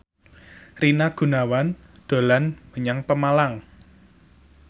Rina Gunawan dolan menyang Pemalang